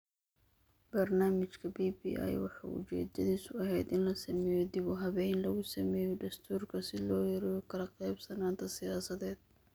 Barnaamijka BBI waxa uu ujeedadiisu ahayd in la sameeyo dib-u-habayn lagu sameeyo dastuurka si loo yareeyo kala qaybsanaanta siyaasadeed.